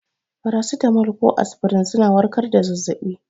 Farasitamol ko aspirin suna warkar da zazzabi.